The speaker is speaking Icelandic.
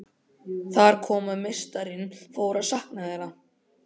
Þar kom að meistarinn fór að sakna þeirra.